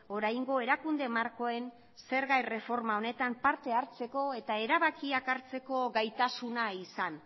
oraingo erakunde markoen zerga erreforma honetan parte hartzeko eta erabakiak hartzeko gaitasuna izan